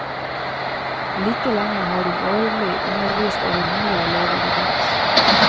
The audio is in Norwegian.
Like lenge har hun årlig undervist over hundre elever i dans.